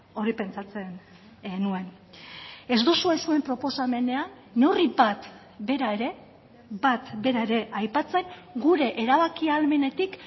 hori pentsatzen nuen ez duzue zuen proposamenean neurri bat bera ere bat bera ere aipatzen gure erabaki ahalmenetik